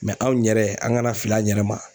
anw ɲɛrɛ an kana fili an ɲɛrɛ ma.